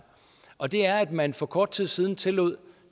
og det er at man for kort tid siden tillod